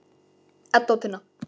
Edda og Tinna.